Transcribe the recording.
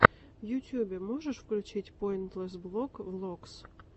в ютьюбе можешь включить пойнтлесс блог влогс